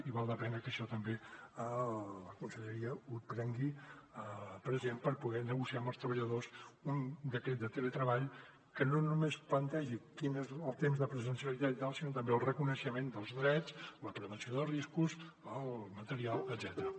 i val la pena que això també la conselleria ho tingui present per poder negociar amb els treballadors un decret de teletreball que no només plantegi quin és el temps de presencialitat sinó també el reconeixement dels drets la prevenció de riscos el material etcètera